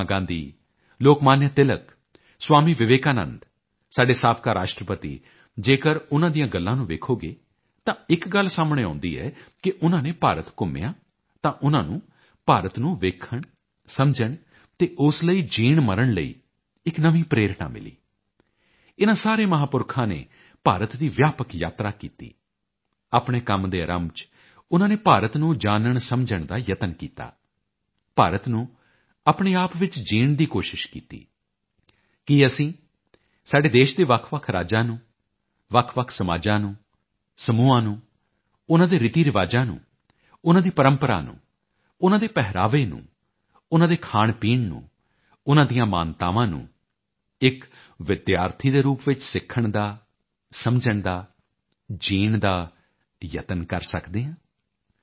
Mahatma Gandhi Lokmanya Tilak Swami Vivekananda ਸਾਡੇ ਸਾਬਕਾ ਰਾਸ਼ਟਰਪਤੀ ਜੇਕਰ ਉਨ੍ਹਾਂ ਦੀਆਂ ਗੱਲਾਂ ਨੂੰ ਵੇਖੋਗੇ ਤਾਂ ਇੱਕ ਗੱਲ ਸਾਹਮਣੇ ਆਉਦੀ ਹੈ ਕਿ ਉਨ੍ਹਾਂ ਨੇ ਭਾਰਤ ਘੁੰਮਿਆ ਤਾਂ ਉਨ੍ਹਾਂ ਨੂੰ ਭਾਰਤ ਨੂੰ ਵੇਖਣਸਮਝਣ ਅਤੇ ਉਸ ਲਈ ਜੀਣਮਰਨ ਲਈ ਇੱਕ ਨਵੀਂ ਪ੍ਰੇਰਣਾ ਮਿਲੀ ਇਨਾਂ ਸਾਰੇ ਮਹਾਪੁਰਖਾਂ ਨੇ ਭਾਰਤ ਦੀ ਵਿਆਪਕ ਯਾਤਰਾ ਕੀਤੀ ਆਪਣੇ ਕੰਮ ਦੇ ਆਰੰਭ ਚ ਉਨ੍ਹਾਂ ਨੇ ਭਾਰਤ ਨੂੰ ਜਾਨਣਸਮਝਣ ਦਾ ਯਤਨ ਕੀਤਾ ਭਾਰਤ ਨੂੰ ਆਪਣੇ ਆਪ ਵਿੱਚ ਜੀਣ ਦੀ ਕੋਸ਼ਿਸ਼ ਕੀਤੀ ਕੀ ਅਸੀਂ ਸਾਡੇ ਦੇਸ਼ ਦੇ ਵੱਖਵੱਖ ਰਾਜਾਂ ਨੂੰ ਵੱਖਵੱਖ ਸਮਾਜਾਂ ਨੂੰ ਸਮੂਹਾਂ ਨੂੰ ਉਨ੍ਹਾਂ ਦੇ ਰੀਤੀਰਿਵਾਜਾਂ ਨੂੰ ਉਨ੍ਹਾਂ ਦੀ ਪਰੰਪਰਾ ਨੂੰ ਉਨ੍ਹਾਂ ਦੇ ਪਹਿਰਾਵੇ ਨੂੰ ਉਨ੍ਹਾਂ ਦੇ ਖਾਣਪੀਣ ਨੂੰ ਉਨ੍ਹਾਂ ਦੀਆਂ ਮਾਨਤਾਵਾਂ ਨੂੰ ਇੱਕ ਵਿਦਿਆਰਥੀ ਦੇ ਰੂਪ ਵਿੱਚ ਸਿੱਖਣ ਦਾ ਸਮਝਣ ਦਾ ਜੀਣ ਦਾ ਯਤਨ ਕਰ ਸਕਦੇ ਹਾਂ